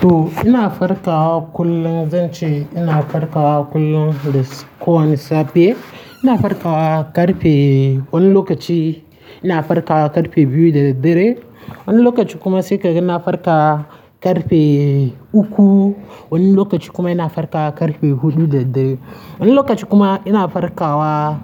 To, ina farkawa kullum, zan ce ina farkawa kullum da ko wani safe. Ina farkawa ƙarfe wani lokaci ina farkawa ƙarfe biyu da dare. Wani lokaci kuma sai ka gana farka ƙarfe uku. Wani lokaci kuma ina farkawa ƙarfe huɗu da dare. Wani lokaci kuma ina farkawa